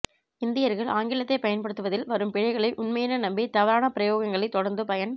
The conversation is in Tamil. இந்தியர்கள் ஆங்கிலத்தை பயன்படுத்துவதில் வரும் பிழைகளை உண்மையென நம்பி தவறான பிரயோகங்களை தொடர்ந்து பயன்